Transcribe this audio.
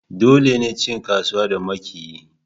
Dole ne cin kasuwa da makiyi